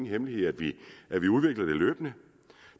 hemmelighed at vi udvikler det løbende